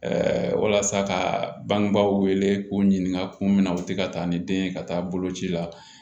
walasa ka bangebaaw wele k'u ɲininka kun min na u tɛ ka taa ni den ye ka taa boloci la